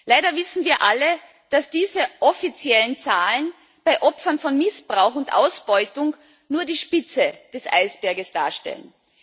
Leider wissen wir alle, dass diese offiziellen Zahlen bei Opfern von Missbrauch und Ausbeutung nur die Spitze des Eisbergs darstellen.